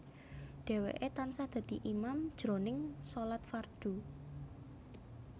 Dhèwèké tansah dadi imam jroning shalat fardhu